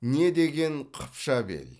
не деген қыпша бел